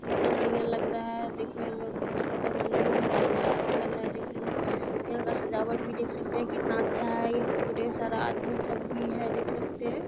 कितना बढ़ियां लग रहा है देखने में और कितना सुंदर मन्दिर है कितना अच्छा लग रहा है देखने में| यहाँ का सजावट भी देख सकते हैं कितना अच्छा है| यहाँ पे ढेर सारा आदमी सब भी है देख सकते हैं।